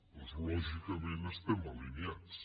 doncs lògicament estem alineats